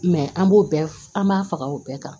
an b'o bɛɛ an b'a faga o bɛɛ kan